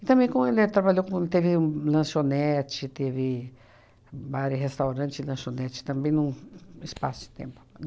E também como ele trabalhou com, teve um lanchonete, teve bar e restaurante e lanchonete também num espaço de tempo.